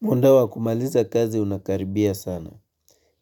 Munda wa kumaliza kazi unakaribia sana.